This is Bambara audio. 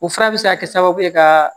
O fura bɛ se ka kɛ sababu ye ka